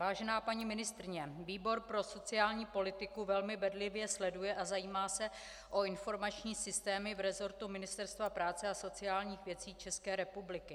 Vážená paní ministryně, výbor pro sociální politiku velmi bedlivě sleduje a zajímá se o informační systémy v resortu Ministerstva práce a sociálních věcí České republiky.